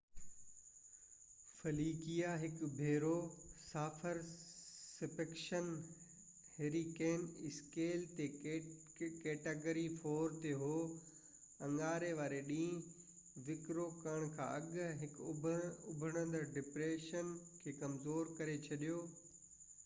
Felicia هڪ ڀيرو Saffir Simpson hurricane scale تي ڪيٽيگري 4 تي هو اڱاري واري ڏينهن وکرڻ کان اڳ هڪ اڀرندڙ ڊپريشن کي ڪمزور ڪري ڇڏيو